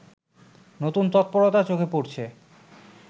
নতুন তৎপরতা চোখে পড়ছে